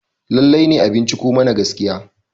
lallai ne a binciko mana gaskiya?